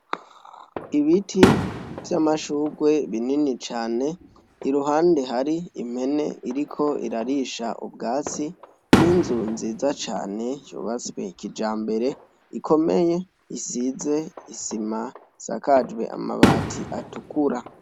Ibiti vy'amashurwe binini cane, iruhande hari impene iriko irarisha ubwatsi, n'inzu nziza cane yubatswe kijambere ikomeye isize isima, isakajwe amabati atukura.